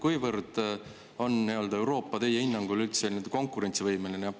Kuivõrd on Euroopa teie hinnangul üldse konkurentsivõimeline?